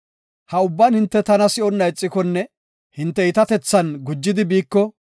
Ha ubban hinte tana si7onna ixikonne hinte iitatethan gujidi biiko,